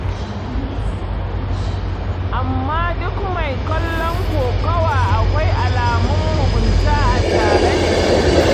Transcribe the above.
Amma duk mai kallon kokawa akwai alamun mugunta a tare da shi.